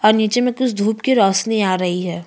और निचे में कुछ धुप की रौशनी आ रही है।